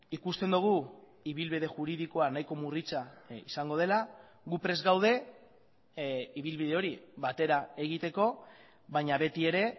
ikusten dugu ibilbide juridikoa nahiko murritza izango dela gu prest gaude ibilbide hori batera egiteko baina beti ere